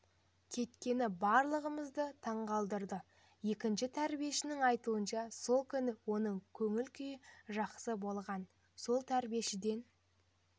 кеткені барлығымызды таңдандырды екінші тәрбиешінің айтуынша сол күні оның көңіл күйі жақсы болған сол тәрбиешіден